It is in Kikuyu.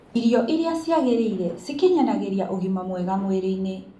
Irio irĩa ciagĩrĩire cikinyanagĩrĩa ũgima mwega mwĩrĩ-ini